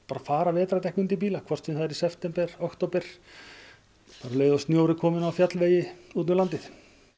fara vetrardekk undir bíla hvort sem það er í september október bara um leið að snjór er kominn á fjallvegi út um landið